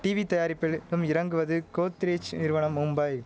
TV தயாரிப்பில் ம் இறங்குவது கோத்ரேஜ் நிறுவனம் மும்பை